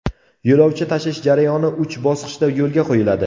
Yo‘lovchi tashish jarayoni uch bosqichda yo‘lga qo‘yiladi.